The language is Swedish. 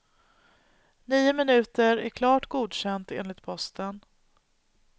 Nio minuter är klart godkänt enligt posten.